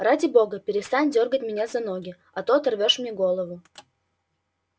ради бога перестань дёргать меня за ноги а то оторвёшь мне голову